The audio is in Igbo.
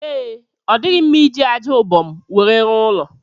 Ee, ọ dighị mma iji aja ubom nwere rụọ ụlọ